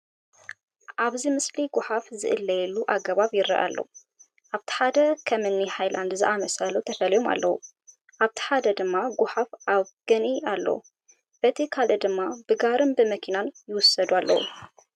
ኣብዚ ምስሊ ጐሓፍ ዝእለየሉ ኣገባብ ይርአ ኣሎ፡፡ ኣብቲ ሓደ ከም እኒ ሃይላንድ ዝኣምሰሉ ተፈልዮም ኣለዉ፡፡ ኣብቲ ሓደ ድማ ጐሓፍ ኣብ ገንኢ ኣለዉ፡፡ በቲ ካልእ ድማ ብጋሪን መኪናን ይውሰዱ ኣለዉ፡፡